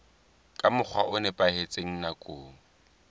ka mokgwa o nepahetseng nakong